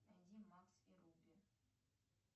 найди макс и рупи